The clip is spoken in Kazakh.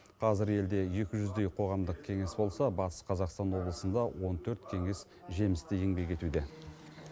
қазір елде екі жүздей қоғамдық кеңес болса батыс қазақсан облысында он төрт кеңес жемісті еңбек етуде